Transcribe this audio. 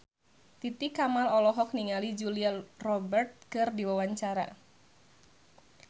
Titi Kamal olohok ningali Julia Robert keur diwawancara